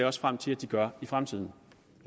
også frem til at de gør i fremtiden